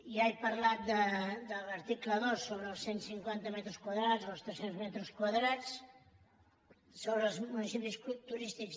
ja he parlat de l’article dos sobre els cent cinquanta metres quadrats o els tres cents metres quadrats sobre els municipis turístics